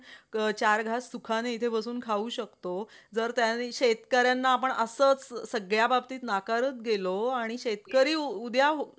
चार घास सुखाने इथं बसून खाऊ शकतो. जर त्यानें शेतकऱ्यांना आपण असंच सगळ्या बाबतीत नाकारत गेलो आणि शेतकरी उद्या